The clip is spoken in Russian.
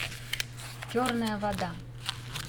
черная вода